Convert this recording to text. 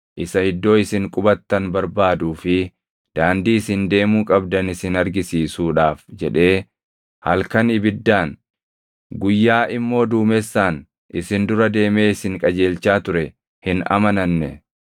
isa iddoo isin qubattan barbaaduu fi daandii isin deemuu qabdan isin argisiisuudhaaf jedhee halkan ibiddaan, guyyaa immoo duumessaan isin dura deemee isin qajeelchaa ture hin amananne.